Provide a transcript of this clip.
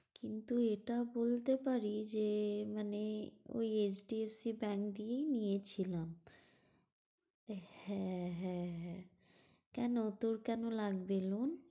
কিন্তু এটা বলতে পারি যে মানে ঐ HDFC Bank দিয়েই নিয়েছিলাম। হ্যাঁ হ্যাঁ হ্যাঁ, কেন তোর কেন লাগবে loan?